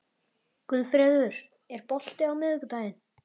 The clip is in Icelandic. Guðfreður, er bolti á miðvikudaginn?